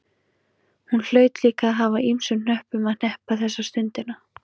Hún hlaut líka að hafa ýmsum hnöppum að hneppa þessa stundina.